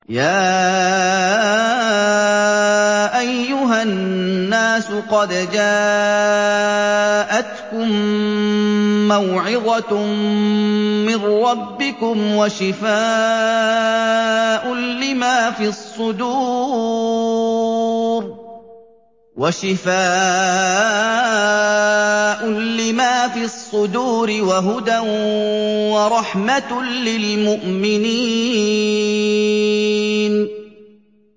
يَا أَيُّهَا النَّاسُ قَدْ جَاءَتْكُم مَّوْعِظَةٌ مِّن رَّبِّكُمْ وَشِفَاءٌ لِّمَا فِي الصُّدُورِ وَهُدًى وَرَحْمَةٌ لِّلْمُؤْمِنِينَ